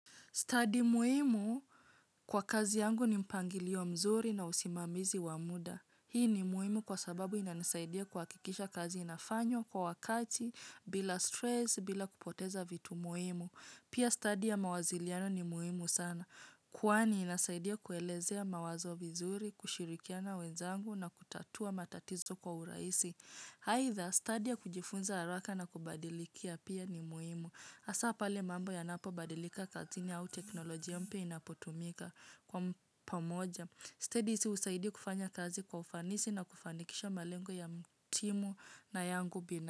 Stadium muhimu kwa kazi yangu ni mpangilio mzuri na usimamizi wa muda. Hii ni muhimu kwa sababu inanisaidia kuhakikisha kazi inafanywa kwa wakati, bila stress, bila kupoteza vitu muhimu. Pia study ya mawaziliano ni muimu sana. Kwani inasaidia kuelezea mawazo vizuri, kushirikiana wenzangu na kutatua matatizo kwa urahisi. Aidha stadi ya kujifunza haraka na kubadilikia pia ni muhimu. Hasa pale mambo yanapobadilika kazini au teknoloji ya mpyq inapotumika kwa pamoja. Sted hizi husaidia kufanya kazi kwa ufanisi na kufanikisha malengo ya m timu na yangu bina.